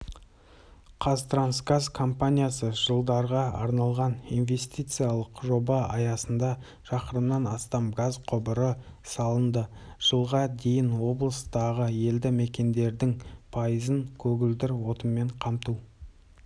қазтрансгаз компаниясы жылдарға арналған инвестициялық жоба аясында шақырымнан астам газ құбыры салынды жылға дейін облыстағы елді мекендердің пайызын көгілдір отынмен қамту